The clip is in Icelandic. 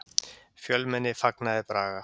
Fjölmenni fagnaði Braga